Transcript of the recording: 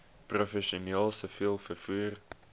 professioneel siviel vervoer